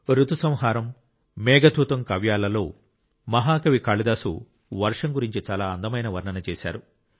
ఋతు సంహారం మేఘదూతం కావ్యాలలో మహా కవి కాళిదాసు వర్షం గురించి చాలా అందమైన వర్ణన చేశారు